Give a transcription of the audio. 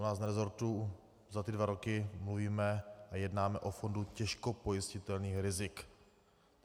U nás v resortu za ty dva roky mluvíme a jednáme o fondu těžko pojistitelných rizik.